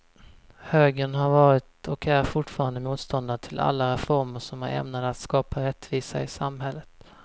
Högern har varit och är fortfarande motståndare till alla reformer som är ämnade att skapa rättvisa i samhället.